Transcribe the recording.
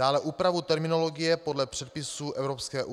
Dále úpravu terminologie podle předpisů EU.